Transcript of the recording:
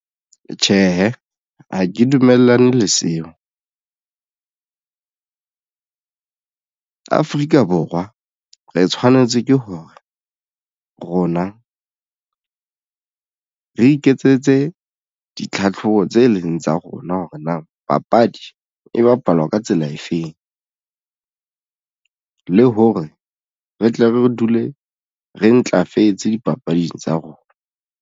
Tjhehe, ha ke dumellane le seo Afrika Borwa re tshwanetse ke hore rona re iketsetse ditlhatlhobo tse leng tsa rona hore na papadi e bapalwa ka tsela efeng, le hore re tle re dule re ntlafetse dipapading tsa rona.